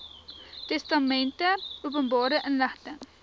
testamente openbare inligting